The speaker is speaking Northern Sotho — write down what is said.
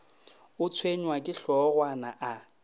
o tshwenywa ke hlogwana a